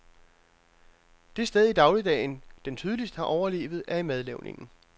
Det sted i dagligdagen, den tydeligst har overlevet, er i madlavningen.